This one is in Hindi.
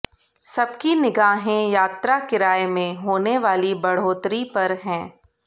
सबकी निगाहें यात्रा किराए में होने वाली बढ़ोतरी पर हैं